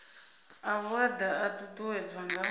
a vhuaḓa a ṱuṱuwedzwa nga